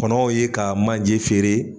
Kɔnɔw ye ka majɛ feere